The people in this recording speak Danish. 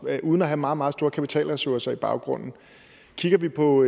uden at have meget meget store kapitalressourcer i baghånden kigger vi på